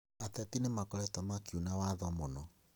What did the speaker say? Ateti nĩmakoretwo makiuna watho mũno